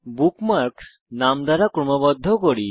bookmarks নাম দ্বারা ক্রমবদ্ধ করি